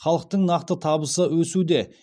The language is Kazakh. халықтың нақты табысы өсуде